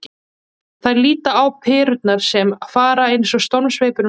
Þær líta á perurnar sem fara eins og stormsveipur um sviðið.